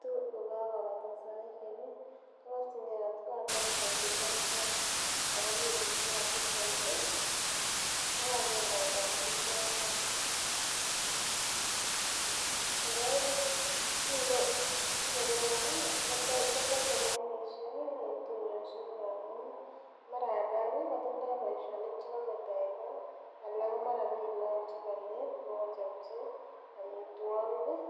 kitu kokakobata saisiek ih koborchin gee koitita taa ako mii biik chekasib koit ih kokanyokondoen bichoton. Kora ih biik elewon ih kotete lainishek en tuiyoshek amun ih mara alak kotindoo boisionik chekometo en kot anan mara mi look chekonye bokochopchi amitwogik ih